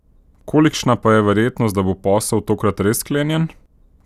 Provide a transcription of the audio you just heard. Kolikšna pa je verjetnost, da bo posel tokrat res sklenjen?